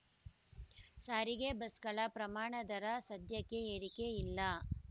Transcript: ಸಾರಿಗೆ ಬಸ್‌ಗಳ ಪ್ರಮಾಣ ದರ ಸದ್ಯಕ್ಕೆ ಏರಿಕೆ ಇಲ್ಲ